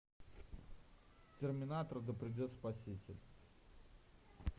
терминатор да придет спаситель